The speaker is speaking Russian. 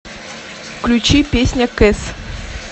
включи песня кэс